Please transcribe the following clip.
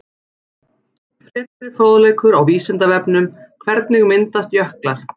Frekari fróðleikur á Vísindavefnum: Hvernig myndast jöklar?